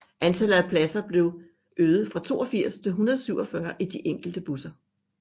Antallet af pladser blev øget fra 82 til 147 i de enkelte busser